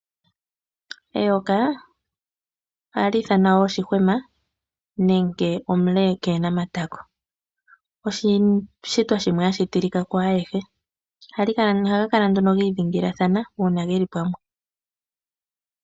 Eyoka ohali ithanwa wo shihwema, nenge omulekeenamatako. Eyoka olyo oshishitwa shimwe hashitilika kwaayehe. Omayoka ohaga Kala gi idhingilathana uuna geli pamwe.